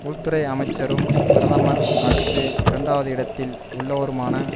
உள்துறை அமைச்சரும் பிரதமர் அடுத்து இரண்டாவது இடத்தில் உள்ளவருமான